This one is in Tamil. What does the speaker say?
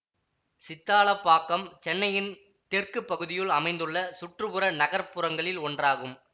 சித்தாலப்பாக்கம் சென்னையின் தெற்கு பகுதியுல் அமைந்துள்ள சுற்று புற நகர்ப்புறங்களில் ஒன்றாகும்